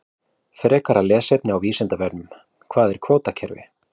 Frekara lesefni á Vísindavefnum: Hvað er kvótakerfi?